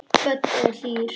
Böddi er hlýr.